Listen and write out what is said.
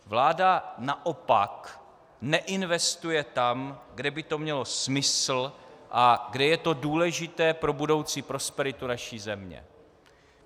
Vláda naopak neinvestuje tam, kde by to mělo smysl a kde je to důležité pro budoucí prosperitu naší země.